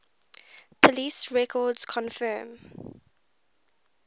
police records confirm